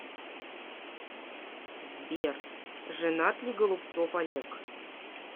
сбер женат ли голубцов олег